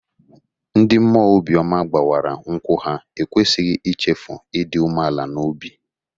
Ndị mmụọ obi ọma gbawara nkwụ ha ekwesịghị ichefu ịdị umeala n'obi.